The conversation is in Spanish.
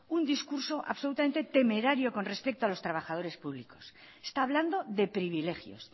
un discurso absolutamente temerario con respeto a los trabajadores públicos está hablando de privilegios